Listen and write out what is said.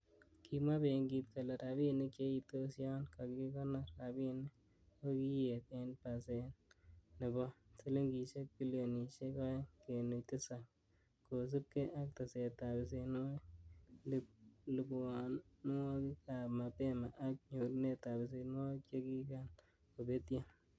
Kimwa benkit kole, rabinik cheitos yon kakikonor rabinik kokiyet en pasen nebo silingisiek bilionisiek o'eng kenuch tisap kosiibge ak tesetab besenwogik, lipwonwogik ab mapema ak nyorunetab besenwogik chekigan kobetyo.